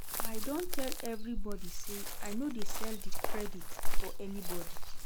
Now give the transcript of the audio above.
I don tell everybodi sey I no dey sell credit for anybodi.